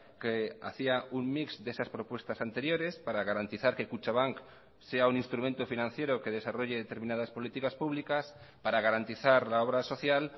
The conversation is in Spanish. que hacía un mix de esas propuestas anteriores para garantizar que kutxabank sea un instrumento financiero que desarrolle determinadas políticas públicas para garantizar la obra social